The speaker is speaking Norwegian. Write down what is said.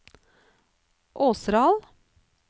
Åseral